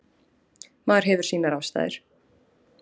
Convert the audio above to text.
Maður hefur sínar ástæður.